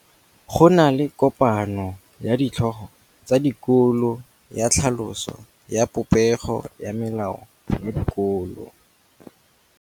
Go na le kopanô ya ditlhogo tsa dikolo ya tlhaloso ya popêgô ya melao ya dikolo.